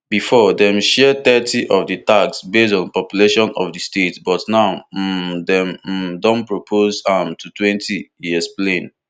bifor dem dey share thirty of di tax based on di population of di states but now um dem um don propose am to twenty e explain